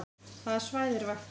Hvaða svæði er vaktað